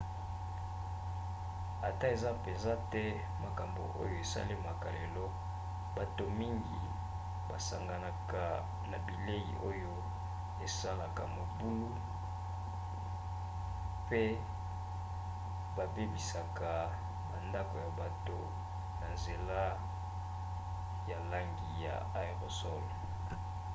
ata eza mpenza te makambo oyo esalemaka lelo bato mingi basanganaka na bilei oyo basalaka mobulu pe babebisaka bandako ya bato na nzela ya langi ya aérosol